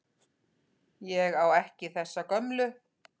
Ég á ekki þessa gömlu.